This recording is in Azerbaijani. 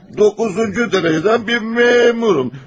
Doqquzuncu dərəcədən bir məmuram.